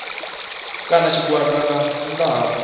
kana tshigwada nga nnḓa ha